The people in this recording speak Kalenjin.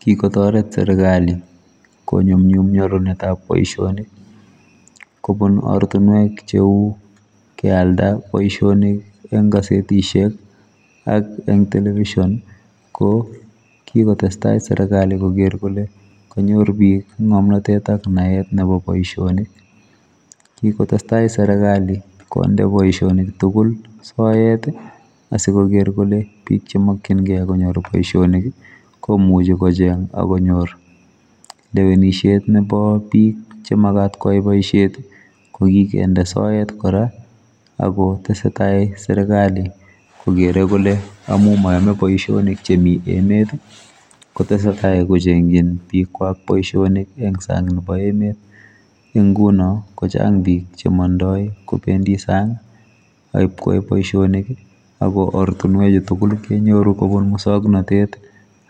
Kikotoret serikali konyumnyum nyorunetab kazi kobun ortinwek cheu kealda boisionik eng kasetisiek anan eng television kokikotestai serikali koker kole konyor bik ngomnotet ak naet nebo boisioni kikotestai serikali konde boisionik tugul soet asikoker kole bik chemokyingei konyor boisionik komuchi kocheng akonyor lewenisiet chebo bik chekimuch konyor boisiet kokikende soet kora akotesetai serikali kokere kole amu mayome boisionik chemi emet kotesetai kochengjin bikwak boisionik en sang nebo emet eng nguno kochang bik chemondoi kobendi sang akipkoip boisionik ak oret tugul kenyoru kobun muswoknotet